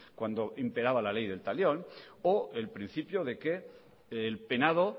cuando imperaba la ley del talión o el principio de que el penado